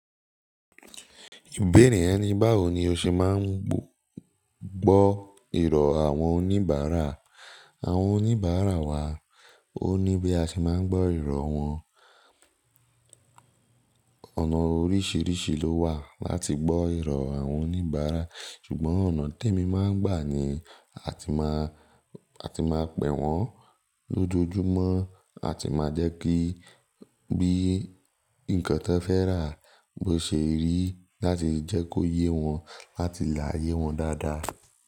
Ìbéèrè ẹ ni báwo ni o ṣe máa ń gbọ́ ìrọ̀ àwọn oníbàárà. Àwọn oníbàárà wa, ó ní bí a ṣe máa ń gbọ́ ìrọ̀ wọn. Ọ̀nà oríṣiríṣi ló wà láti gbọ́ ìrọ̀ àwọn oníbàárà, ṣùgbọ́n ọ̀nà tí èmi máa ń gbà ni a ti máa, a ti máa pẹ̀ wọ́n lójoojúmọ́, a ti máa jẹ́ kí bí nǹkan tí wọ́n fẹ́ rà bó ṣe rí láti jẹ́ kó yé wọn láti láyé wọn dáadáa.